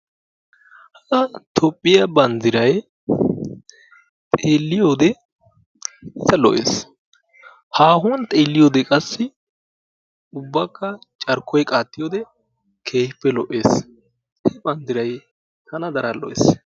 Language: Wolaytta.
toophiyaa banddiray xeelliyoode iita lo"ees. haahuwaan xeelliyoode qassi ubbakka carkkoy qaattiyoode keehippe lo"ees. toophiyaa banddiray tana daro lo"ees.